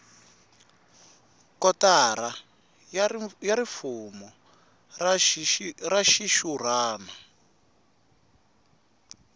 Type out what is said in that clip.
kotara ya rifumo ra xixurhana